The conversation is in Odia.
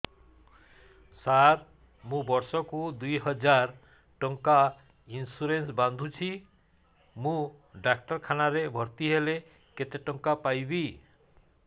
ସାର ମୁ ବର୍ଷ କୁ ଦୁଇ ହଜାର ଟଙ୍କା ଇନ୍ସୁରେନ୍ସ ବାନ୍ଧୁଛି ମୁ ଡାକ୍ତରଖାନା ରେ ଭର୍ତ୍ତିହେଲେ କେତେଟଙ୍କା ପାଇବି